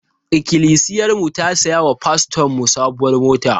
Ikilisiyarmu ta saya wa fastonmu sabuwar mota.